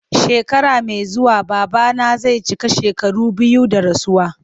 Shekara mai zuwa babana zai cika shekaru biyu da rasuwa.